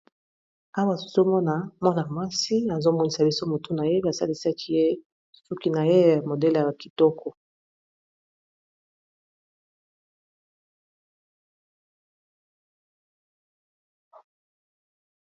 Awa nazomona mwana mwasi azomonisa biso mutu na ye basalisaki ye suki na ye ya modele ya bakitoko.